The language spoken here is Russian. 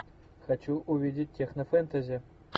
хочу увидеть технофэнтези